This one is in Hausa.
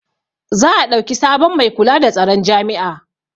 za a ɗauki sabon Mai kula da tsaron jami'a